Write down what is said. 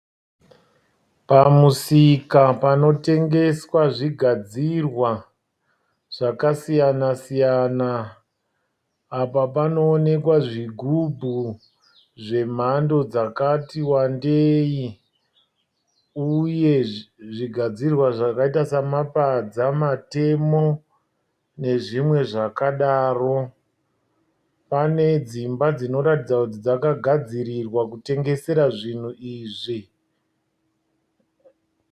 Pamusika panotengeswa zvigadzirwa zvakasiyana-siyana. Apa panoonekwa zvigubhu zvemhando dzakati wandei. uye zvigadzirwa zvakaita samapadza matemo nezvimwe zvakadaro. Pane dzimba dzinoratidza kuti dzakagadzirirwa kutengesera zvinhu izvi.